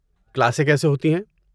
کلاسیں کیسے ہوتی ہیں؟